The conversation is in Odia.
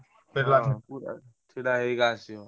ଛିଡ଼ା ହେଇ ହେଇକା ଆସିବ।